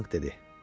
Çianq dedi.